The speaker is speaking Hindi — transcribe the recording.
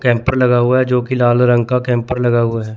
कैंपर लगा हुआ है जोकि लाल रंग का कैंपर लगा हुआ है।